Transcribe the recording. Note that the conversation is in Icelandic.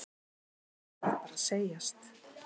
Það verður bara að segjast.